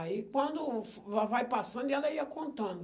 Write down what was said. Aí, quando va vai passando, ela ia contando.